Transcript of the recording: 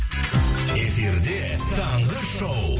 эфирде таңғы шоу